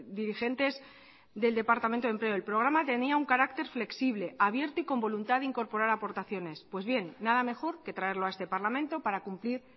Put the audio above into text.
dirigentes del departamento de empleo el programa tenía un carácter flexible abierto y con voluntad de incorporar aportaciones pues bien nada mejor que traerlo a este parlamento para cumplir